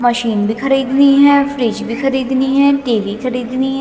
Machine भीं खरीदनी हैं फ्रिज भीं खरीदनी हैं टी_वी खरीदनी हैं।